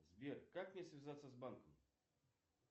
сбер как мне связаться с банком